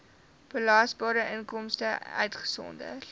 belasbare inkomste uitgesonderd